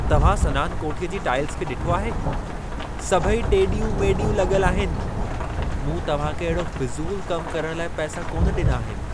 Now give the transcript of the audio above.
तव्हां सनान कोठीअ जी टाइल्स खे ॾिठो आहे? सभई टेॾियूं - मेॾियूं लॻल आहिनि। मूं तव्हां खे अहिड़ो फिज़ूल कम करण लाइ पैसा कोन ॾिना आहिनि।